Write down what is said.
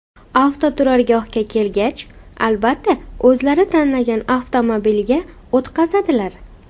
Avtoturargohga kelgach, albatta, o‘zlari tanlagan avtomobilga o‘tqizadilar.